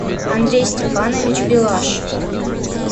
андрей степанович билаш